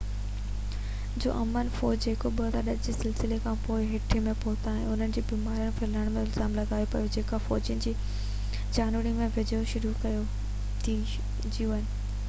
un جا امن فوجي جيڪو 2010 جي زلزلي کانپوءِ هيٽي ۾ پهتا اتي انهن کي بيماري ڦهلائڻ جو الزام لڳايو پيو وڃي جيڪا فوجين جي ڇانوڻي جي ويجهو شروع ٿي هئي